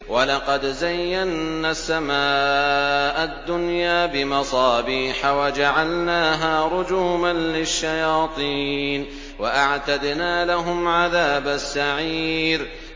وَلَقَدْ زَيَّنَّا السَّمَاءَ الدُّنْيَا بِمَصَابِيحَ وَجَعَلْنَاهَا رُجُومًا لِّلشَّيَاطِينِ ۖ وَأَعْتَدْنَا لَهُمْ عَذَابَ السَّعِيرِ